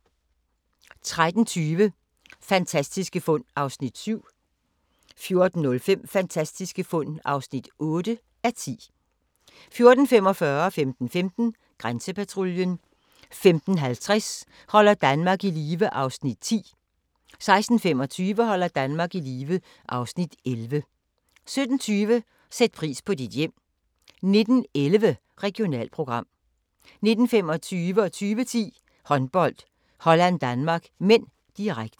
13:20: Fantastiske fund (7:10) 14:05: Fantastiske fund (8:10) 14:45: Grænsepatruljen 15:15: Grænsepatruljen 15:50: Holder Danmark i live (Afs. 10) 16:25: Holder Danmark i live (Afs. 11) 17:20: Sæt pris på dit hjem 19:11: Regionalprogram 19:25: Håndbold: Holland-Danmark (m), direkte 20:10: Håndbold: Holland-Danmark (m), direkte